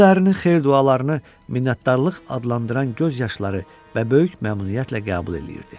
O dərrinin xeyir-dualarını minnətdarlıq adlandıran göz yaşları və böyük məmnuniyyətlə qəbul eləyirdi.